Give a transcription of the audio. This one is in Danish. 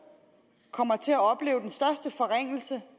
kommer til at opleve den største forringelse